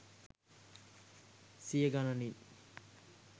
සිය ගණනින්.